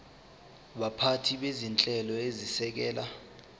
baphathi bezinhlelo ezisekela